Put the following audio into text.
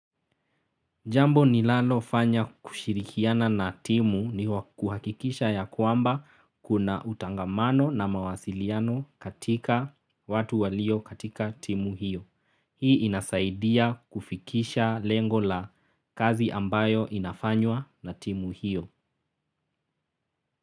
Jambo nilalo fanya kushirikiana na timu ni kuhakikisha ya kwamba kuna utangamano na mawasiliano katika watu walio katika timu hiyo. Hii inasaidia kufikisha lengo la kazi ambayo inafanywa na timu hiyo.